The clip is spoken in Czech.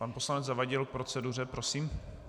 Pan poslanec Zavadil k proceduře, prosím.